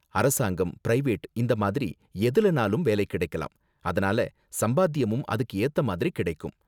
அரசாங்கம், பிரைவேட் இந்த மாதிரி எதுலனாலும் வேலை கிடைக்கலாம், அதனால சம்பாத்தியமும் அதுக்கு ஏத்த மாதிரி கிடைக்கும்.